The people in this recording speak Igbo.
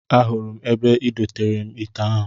Ahụrụ m ebe I doteere m ite ahụ